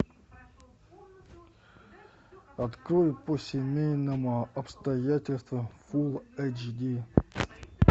открой по семейным обстоятельствам фулл эч ди